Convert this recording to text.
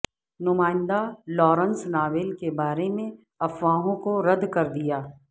نمائندہ Lawrence novel کے بارے میں افواہوں کو رد کر دیا